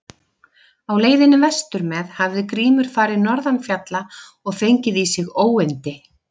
Á leiðinni vestur með hafði Grímur farið norðan fjalla og fengið í sig óyndi.